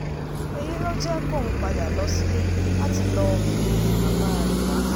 èyí ló jẹ́ kóun padà lọ sílé láti lọ́ọ́ pe bàbá rẹ̀ wá